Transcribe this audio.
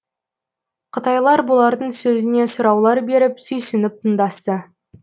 қытайлар бұлардың сөзіне сұраулар беріп сүйсініп тыңдасты